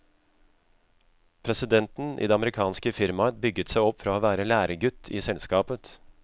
Presidenten i det amerikanske firmaet bygget seg opp fra å være læregutt i selskapet.